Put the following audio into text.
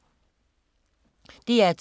DR2